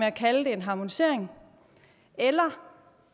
at kalde det en harmonisering eller